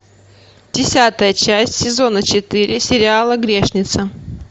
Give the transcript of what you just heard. десятая часть сезона четыре сериала грешница